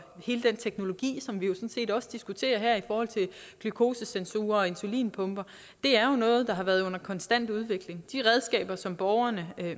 hele den teknologi som vi jo set også diskuterer her i forhold til glukosesensorer og insulinpumper er noget der har været under konstant udvikling de redskaber som borgerne